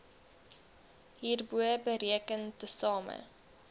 hierbo bereken tesame